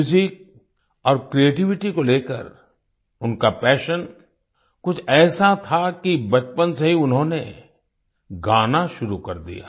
Music और creativity को लेकर उनका पैशन कुछ ऐसा था कि बचपन से ही उन्होंने गाना शुरू कर दिया